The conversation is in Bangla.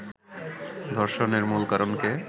ধর্ষণের মূল কারণকে